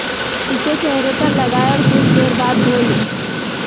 इसे चेहरे पर लगाएं और कुछ देर बाद धों ले